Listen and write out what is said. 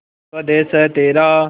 स्वदेस है तेरा